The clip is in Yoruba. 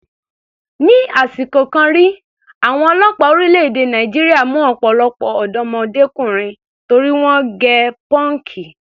Ni àsìkò kan rí, àwọn ọlọ́pàá orílẹ̀-èdè Nàìjíríà mú ọ̀pọ̀lọpọ̀ ọ̀dọ́mọdékùnrin torí wọ́n gẹ pọ́ǹkì.